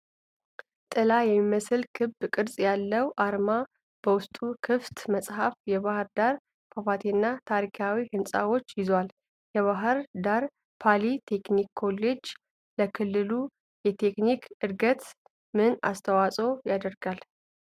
ጥላ የሚመስል ክብ ቅርጽ ያለው አርማ በውስጡ ክፍት መጽሐፍ፣ የባሕር ዳር ፏፏቴና ታሪካዊ ሕንፃዎችን ይዟል። የባሕር ዳር ፖሊ ቴክኒክ ኮሌጅ ለክልሉ የቴክኒክ ዕድገት ምን አስተዋፅዖ ያደርጋል?